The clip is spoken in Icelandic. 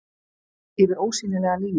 Yfir ósýnilega línu.